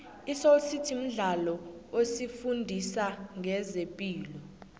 isoly city mdlalo osifundisa nqezepilo